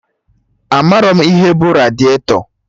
Amarọ m ihe bụ radiatọ